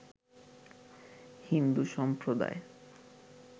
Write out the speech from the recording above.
হিন্দু সম্প্রদায়